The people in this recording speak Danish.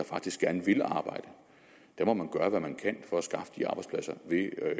faktisk gerne vil arbejde må man gøre hvad man kan for at skaffe de arbejdspladser ved at